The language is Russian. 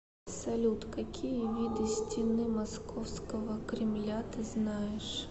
салют какие виды стены московского кремля ты знаешь